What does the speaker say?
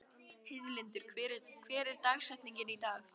Heiðlindur, hver er dagsetningin í dag?